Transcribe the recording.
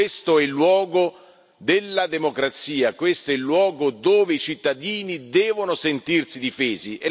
Questo è il luogo della democrazia, questo è il luogo dove i cittadini devono sentirsi difesi.